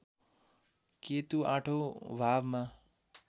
केतु आठौँ भावमा